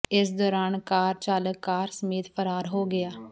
ਇਸੇ ਦੌਰਾਨ ਕਾਰ ਚਾਲਕ ਕਾਰ ਸਮੇਤ ਫਰਾਰ ਹੋ ਗਿਆ